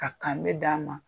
Ka k'an bɛ d'a ma!